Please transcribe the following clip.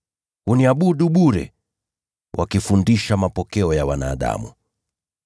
Huniabudu bure, nayo mafundisho yao ni maagizo ya wanadamu tu.’